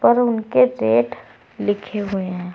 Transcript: और उनके रेट लिखे हुए है।